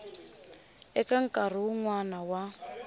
eka nkarhi wun wana wa